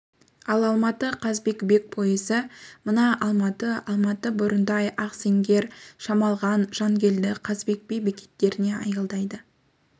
ал алматы қазыбек бек пойызы мына алматы алматы бурундай ақсеңгер шамалған жангелді қазыбек би бекеттерінде аялдайды